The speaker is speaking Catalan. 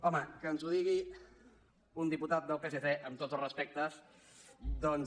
home que ens ho digui un diputat del psc amb tots els respectes doncs